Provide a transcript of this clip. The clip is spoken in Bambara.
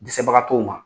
Dɛsɛbagatɔw ma